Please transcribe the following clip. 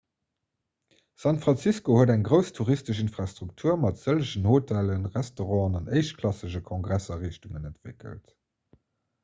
san francisco huet eng grouss touristesch infrastruktur mat sëllegen hotellen restauranten an éischtklassegen kongressariichtungen entwéckelt